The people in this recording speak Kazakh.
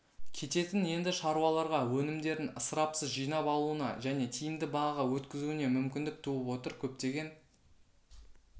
кететін енді шаруаларға өнімдерін ысырапсыз жинап алуына және тиімді бағаға өткізуіне мүмкіндік туып отыр көптеген